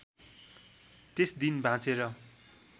त्यस दिन बाँचेर